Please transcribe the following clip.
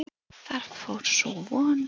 Þar fór sú von.